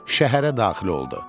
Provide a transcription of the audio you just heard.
Şəhərə daxil oldu.